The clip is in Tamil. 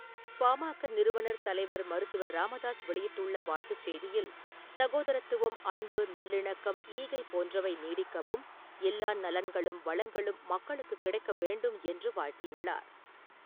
பா.ம.க.நிறுவனர் தலைவர் மருத்தவர் ராமதாஸ் வெளியிட்டுள்ள வாழ்த்துச் செய்தியில், சகோதரத்துவம், அன்பு, நல்லிணக்கம், ஈகை போன்றவை நீடிக்கவும், எல்லா நலன்களும், வளங்களும் மக்களுக்கு கிடைக்க வேண்டும் என்று வாழ்த்தியுள்ளார்.